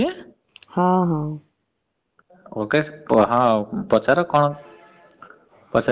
ok ହଁ ପଚାର କଣ ପଚାରିବାର ଅଛି?